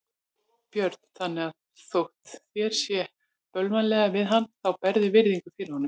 Björn: Þannig að þótt þér sé bölvanlega við hann þá berðu virðingu fyrir honum?